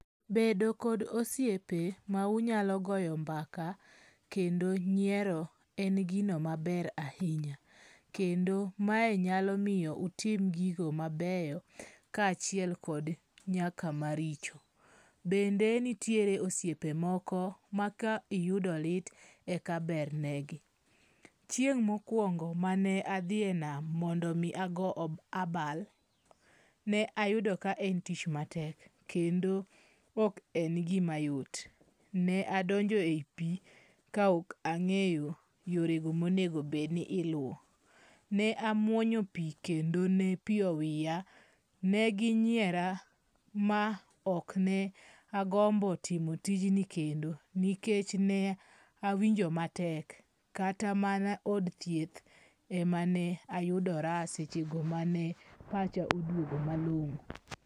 Bedo kod osiepe ma unyalo goyo mbaka kendo nyiero en gino maber ahinya. Kendo, mae nyalo miyo utim gigo mabeyo kaachiel kod nyaka maricho. Bende nitiere osiepe moko ma ka iyudo lit eka bernegi. Chieng' mokwongo mane adhi e nam mondo mi ago abal, ne ayudo kaen tich matek kendo ok en gima yot. Ne adonjo ei pi kaok ang'eyo yorego monegobedni iluwo. Ne amwonyo pi kendo ne pi owiya, ne ginyiera ma ok ne agombo timo tijni kendo nikech ne awinjo matek. Kata mana od thieth emane ayudora sechego mane pacha oduogo malong'o.